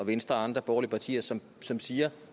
og venstre og andre borgerlige partier som som siger